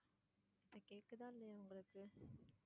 இப்போ கேக்குதா இல்லையா உங்களுக்கு?